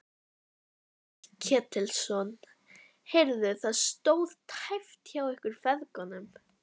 Páll Ketilsson: Heyrðu, það stóð tæpt hjá ykkur feðgum?